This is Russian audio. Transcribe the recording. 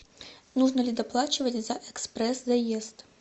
нужно ли доплачивать за экспресс заезд